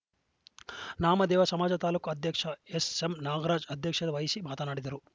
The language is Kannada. ನಾಮದೇವ ಸಮಾಜ ತಾಲೂಕು ಅಧ್ಯಕ್ಷ ಎಸ್‌ಎಂನಾಗರಾಜ್‌ ಅಧ್ಯಕ್ಷತೆ ವಹಿಸಿ ಮಾತನಾಡಿದರು